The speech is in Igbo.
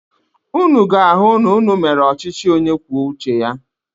Ụnụ ga-ahụ na ụnụ mere ọchịchị onye kwuo uche ya.